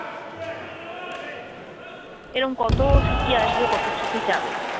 এরকম কত স্মৃতি আসবে কত স্মৃতি যাবে।